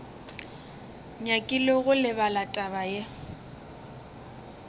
nyakile go lebala taba ye